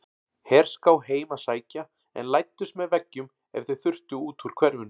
Herská heim að sækja en læddust með veggjum ef þau þurftu út úr hverfinu.